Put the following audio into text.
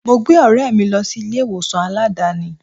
Mo gbé ọ̀rẹ́ mi lọ sí ilé ìwòsàn Aládàáni.